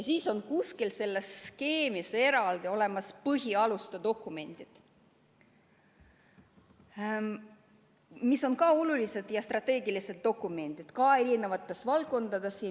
Kuskil selles skeemis on eraldi olemas põhialuste dokumendid, mis on samuti olulised strateegilised dokumendid, lihtsalt eri valdkondades.